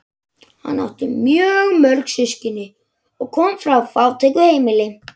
Hann átti mjög mörg systkini og kom frá fátæku heimili.